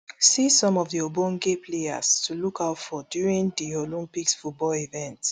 see some of di ogbonge players to look out for during di olympics football event